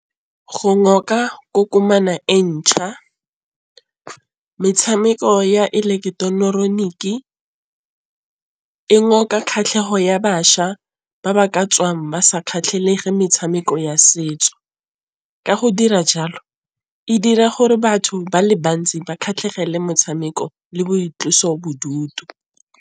Go kokomane e ntšha, metšhameko ya eleketeroniki e ngoka kgatlhego ya bašwa ba ba ka tswang ba sa kgatlhege metšhameko ya setso. Ka go dira jalo e dira gore batho ba le bantsi ba kgatlhegele metšhameko le boitlosobodutu.